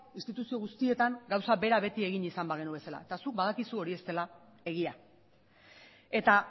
instituzio guztietan gauza bera beti egin bagenu bezala eta zuk badakizu hori ez dela egia eta